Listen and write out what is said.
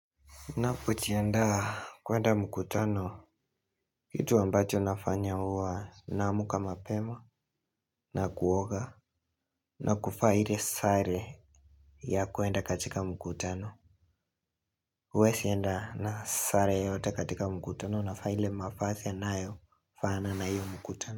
Napojienda kuenda mkutano, kitu ambacho nafanya uwa naamka mapema na kuoga na kuvaa ile sare ya kuenda katika mkutano. Uwezi enda na sare yote katika mkutano navaa ile mavazi yanayofaana na iyo mkutano.